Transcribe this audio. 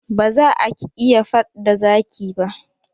Ba za ak iya faɗ da zaki ba.